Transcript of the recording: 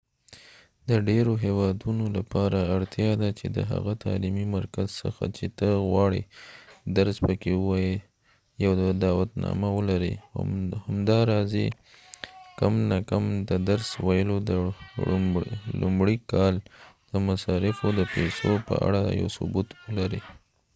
د ډیرو هیوادونو لپاره اړتیا ده چې د هغه تعلیمی مرکز څخه چې ته غواړې درس پکې ووایې یو دعوتنامه ولرې او همداراز کم نه کم د درس ویلو د لومړي کال د مصارفو د پیسو په اړه یو ثبوت ولرې